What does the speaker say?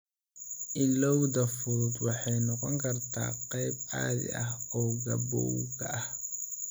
Illowda fudud waxay noqon kartaa qayb caadi ah oo gabowga ah.